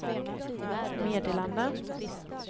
meddelande